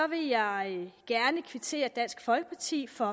vil jeg gerne kvittere dansk folkeparti for